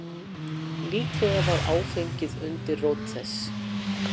Líklega var áfengið undirrót þess.